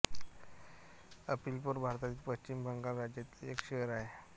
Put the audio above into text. अलिपोर भारतातील पश्चिम बंगाल राज्यातील एक शहर आहे